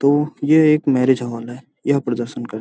तो ये एक मैरिज हॉल हैं यहाँ प्रदर्शन करते हैं।